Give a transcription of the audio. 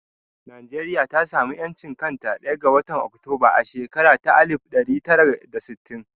Najeriya ta sa mu ƴanci a ɗaya ga watan Oktoba a shakara ta alif ɗari tara da sittin